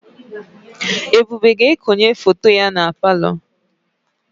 Ebube ga-ekonye foto ya na palọ ya.